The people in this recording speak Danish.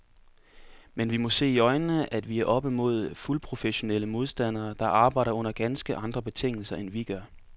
Men vi må se i øjnene, at vi er oppe mod fuldprofessionelle modstandere, der arbejder under ganske andre betingelser end vi gør.